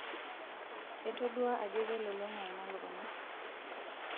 etodua ajo kelulunga ina lukunya